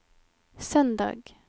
søndag